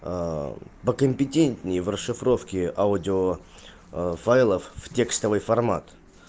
а по компетентнее в расшифровке аудио файлов в текстовый формат